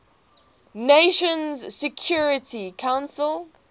nations security council